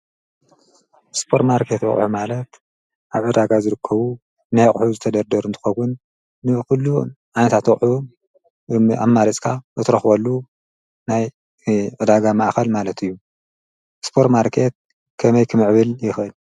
ሱፐርማርኬት ኣቑሑ ማለት ኣብ ዕዳጋ ዝርከቡ ናይ ኣቑሑ ዝተደርደሩ እንትኸውን ኩሉ ዓይነታት ኣቑሑ ኣማሪፅካ እትረኽበሉ ናይ ዕዳጋ ማእከል ማለት እዩ፡፡ ሱፐርማርኬት ከመይ ክምዕብል ይኽእል?